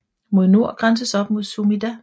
Mod nord grænses op mod Sumida